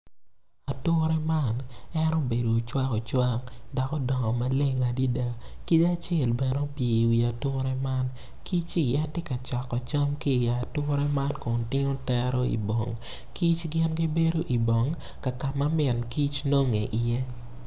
Ature man en obedo ocwakocwak dok odongo maleng adada kic acel bene opye i wi ature men kicci tye ka coko cam ki i ature man kun tingo tero i bong.